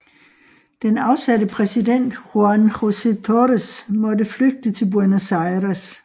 Den afsatte præsident Juan José Torres måtte flygte til Buenos Aires